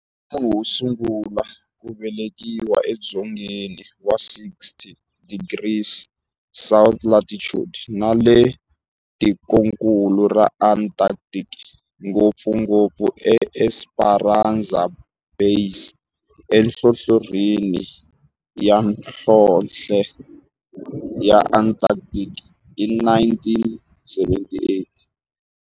Munhu wosungula ku velekiwa edzongeni wa 60 degrees south latitude nale ka tikonkulu ra Antarctic, ngopfungopfu eEsperanza Base enhlohlorhini ya nhlonhle ya Antarctic hi 1978.